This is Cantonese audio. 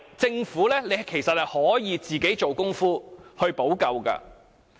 政府本來是可以做工夫去補救的。